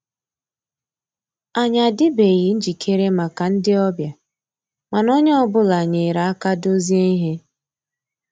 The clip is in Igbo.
Ànyị́ àdị́beghị́ njìkéré màkà ndị́ ọ̀bịá, mànà ónyé ọ́ bụ́là nyéré àká dòzié íhé.